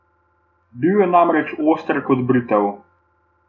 Bil je namreč oster kot britev.